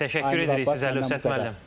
Təşəkkür edirik sizə, Əlövsət müəllim.